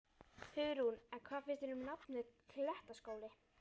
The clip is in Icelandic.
Hugrún: En hvað finnst þér um nafnið, Klettaskóli?